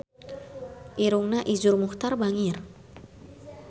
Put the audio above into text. Irungna Iszur Muchtar bangir